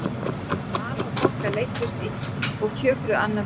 Vala og Bogga leiddust og kjökruðu annað veifið.